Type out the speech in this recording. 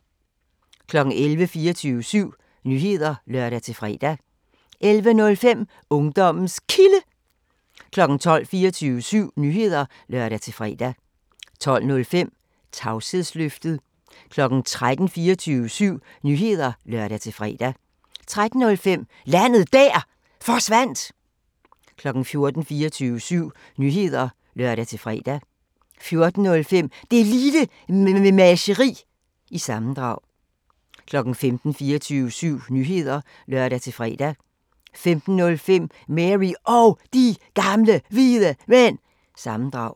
11:00: 24syv Nyheder (lør-fre) 11:05: Ungdommens Kilde 12:00: 24syv Nyheder (lør-fre) 12:05: Tavshedsløftet 13:00: 24syv Nyheder (lør-fre) 13:05: Landet Der Forsvandt 14:00: 24syv Nyheder (lør-fre) 14:05: Det Lille Mememageri – sammendrag 15:00: 24syv Nyheder (lør-fre) 15:05: Mary Og De Gamle Hvide Mænd – sammendrag